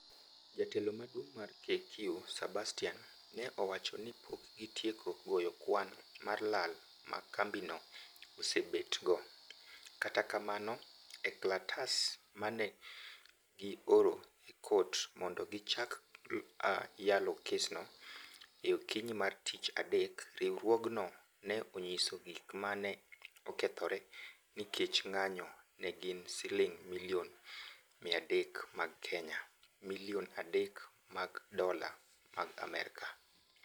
Jatelo maduong' mar KQ Sebastian ne owacho ni pok gitieko goyo kwan mar lal ma kambi no osebet go, kata kamano, e klatas mane gi oro e kot mondo gichak yalo kes no e okinyi mar tich adek, riwruogno ne onyiso gik ma ne okethore ni kech ng'anyo ne gin siling milion 300 mag kenya, ( milion adek mag dola mag Amerka)